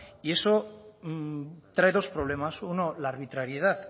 y eso trae los problemas uno la arbitrariedad